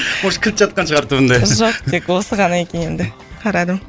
может кілт жатқан шығар түбінде жоқ тек осы ғана екен енді қарадым